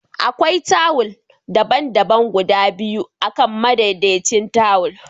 Akwai tawul daban-daban guda biyu akan madaidaicin tawul